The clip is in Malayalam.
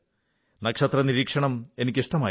നക്ഷത്ര നിരീക്ഷണം എനിക്ക് ഇഷ്ടമായിരുന്നു